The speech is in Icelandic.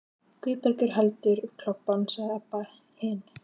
Guðbergur heldur um klobbann, sagði Abba hin.